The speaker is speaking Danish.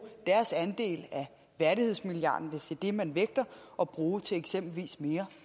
deres andel af værdighedsmilliarden hvis det er det man vægter at bruge til eksempelvis mere